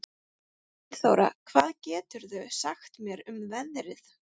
Gunnþóra, hvað geturðu sagt mér um veðrið?